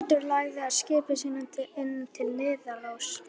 Brandur lagði skipi sínu inn til Niðaróss.